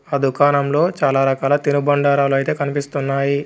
ఆ దుకాణంలో చాలా రకాల తినుబండారాలైతే కనిపిస్తున్నాయి.